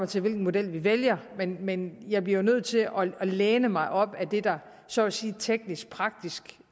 til hvilken model vi vælger men jeg bliver jo nødt til at læne mig op ad det der så at sige teknisk praktisk